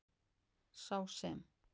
Sá sem.